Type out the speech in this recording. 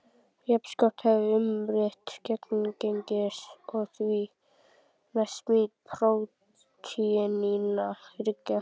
Jafnskjótt hefst umritun genagengisins og því næst smíð prótínanna þriggja.